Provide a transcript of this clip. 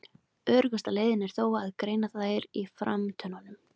Öruggasta leiðin er þó að greina þær á framtönnunum.